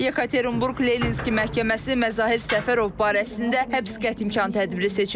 Yekaterinburq Leninski məhkəməsi Məzahir Səfərov barəsində həbs qəti imkan tədbiri seçib.